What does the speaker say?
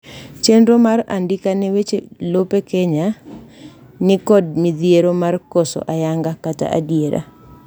chenro mar andika ne weche lope kenya ni kod midhiero mar koso ayanga kata adiera